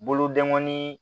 Bolodengɔnin